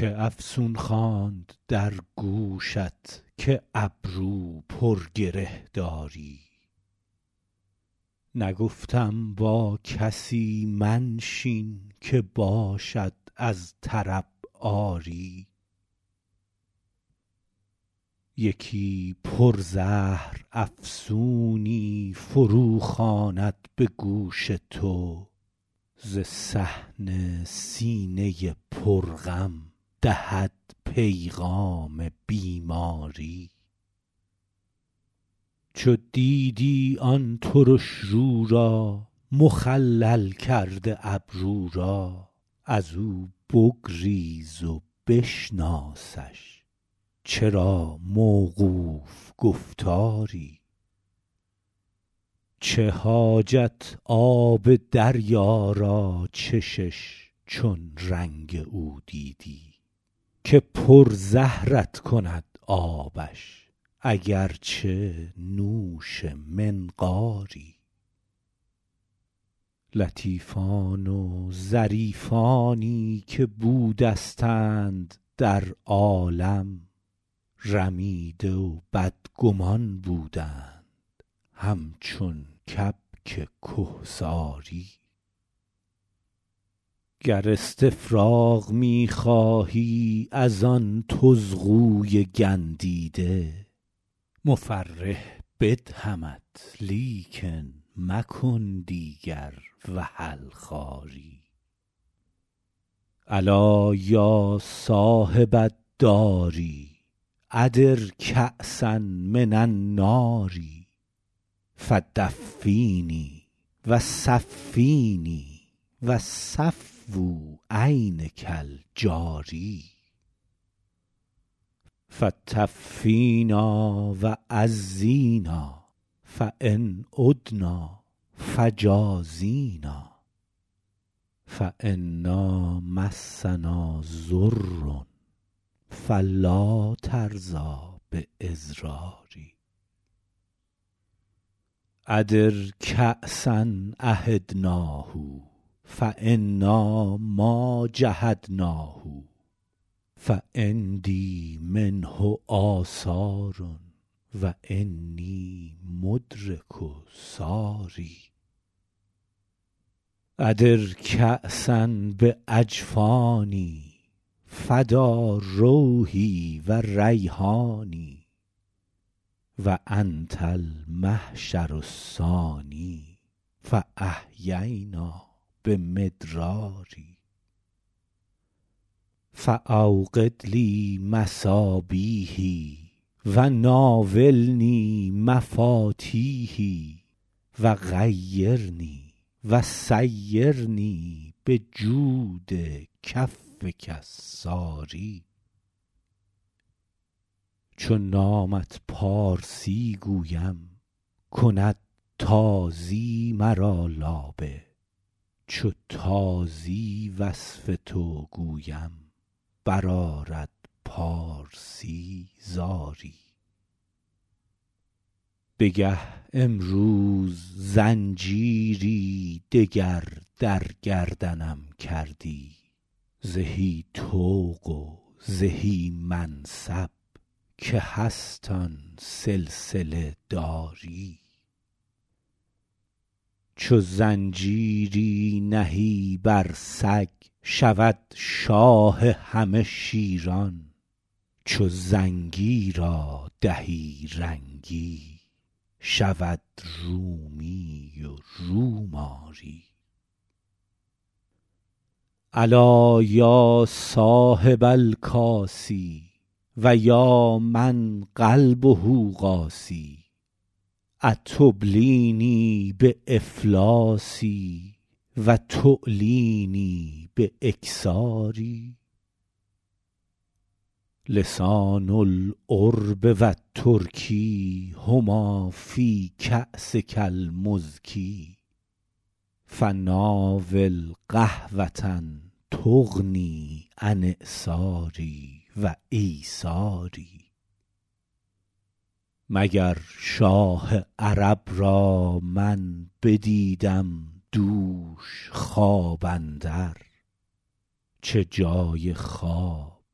کی افسون خواند در گوشت که ابرو پر گره داری نگفتم با کسی منشین که باشد از طرب عاری یکی پر زهر افسونی فرو خواند به گوش تو ز صحن سینه پر غم دهد پیغام بیماری چو دیدی آن ترش رو را مخلل کرده ابرو را از او بگریز و بشناسشچرا موقوف گفتاری چه حاجت آب دریا را چشش چون رنگ او دیدی که پر زهرت کند آبش اگر چه نوش منقاری لطیفان و ظریفانی که بودستند در عالم رمیده و بدگمان بودند همچون کبک کهساری گر استفراغ می خواهی از آن طزغوی گندیده مفرح بدهمت لیکن مکن دیگر وحل خواری الا یا صاحب الدار ادر کأسا من النار فدفینی و صفینی و صفو عینک الجاری فطفینا و عزینا فان عدنا فجازینا فانا مسنا ضر فلا ترضی باضراری ادر کأسا عهدناه فانا ما جحدناه فعندی منه آثار و انی مدرک ثاری ادر کأسا باجفانی فدا روحی و ریحانی و انت المحشر الثانی فاحیینا بمدرار فاوقد لی مصابیحی و ناولنی مفاتیحی و غیرنی و سیرنی بجود کفک الساری چو نامت پارسی گویم کند تازی مرا لابه چو تازی وصف تو گویم برآرد پارسی زاری بگه امروز زنجیری دگر در گردنم کردی زهی طوق و زهی منصب که هست آن سلسله داری چو زنجیری نهی بر سگ شود شاه همه شیران چو زنگی را دهی رنگی شود رومی و روم آری الا یا صاحب الکاس و یا من قلبه قاسی اتبلینی بافلاسی و تعلینی باکثاری لسان العرب و الترک هما فی کاسک المر فناول قهوه تغنی من اعساری و ایساری مگر شاه عرب را من بدیدم دوش خواب اندر چه جای خواب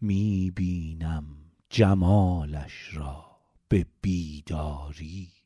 می بینم جمالش را به بیداری